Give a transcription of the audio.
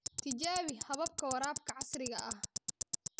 Tijaabi hababka waraabka casriga ah.